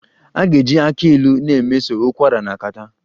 A ga-eji aki Ilu na-emeso ụkwara na catarrh